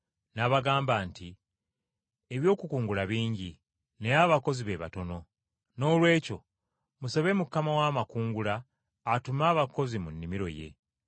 N’abagamba nti, “Eby’okukungula bingi, naye abakozi abakungula batono. Noolwekyo musabe nannyini nnimiro, aweereze abakozi mu nnimiro ye.